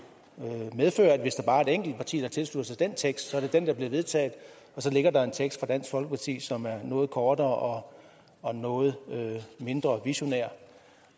medføre at hvis der bare er et enkelt parti der tilslutter sig den tekst er det den der bliver vedtaget og så ligger der en tekst fra dansk folkeparti som er noget kortere og noget mindre visionær